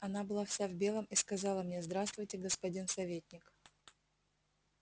она была вся в белом и сказала мне здравствуйте господин советник